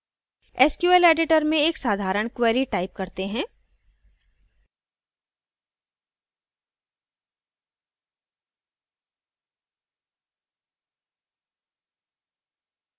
SQL editor में एक साधारण query type करते हैंः